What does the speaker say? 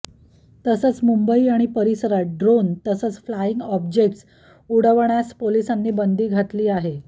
तसंच मुंबई आणि परिसरात ड्रोन तसंच फ्लाईंग ऑब्जेक्ट्स उडवण्यास पोलिसांनी बंदी घातली आहे